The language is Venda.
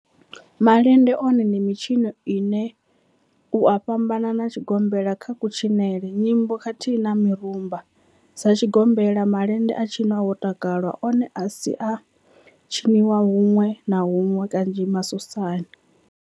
Malende one ndi mitshino ine u a fhambana na tshigombela kha kutshinele, nyimbo khathihi na mirumba, Sa tshigombela, malende a tshinwa ho takalwa, one a si a tshiniwa hunwe na hunwe kanzhi masosani.